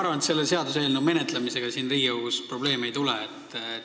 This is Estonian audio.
Ma arvan, et selle seaduseelnõu menetlemisega siin Riigikogus probleemi ei tule.